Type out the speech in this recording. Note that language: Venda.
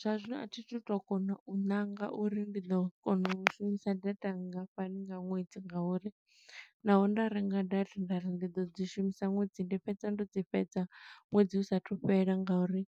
Zwa zwino a thi thu to kona u ṋanga uri ndi ḓo kona u shumisa data nngafhani nga ṅwedzi, nga uri naho nda renga data nda ri ndi ḓo dzi shumisa ṅwedzi, ndi fhedza ndo dzi fhedza ṅwedzi u sathu fhela nga uri